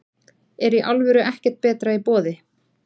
Er í alvöru ekkert betra í boði?